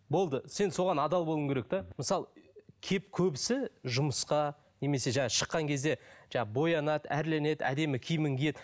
болды сен соған адал болуың керек те мысалы көбісі жұмысқа немесе жаңа шыққан кезде боянады әрленеді әдемі киімін киеді